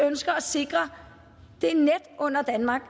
ønsker at sikre det net under danmark